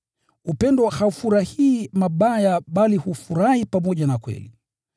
Upendo haufurahii mabaya bali hufurahi pamoja na kweli.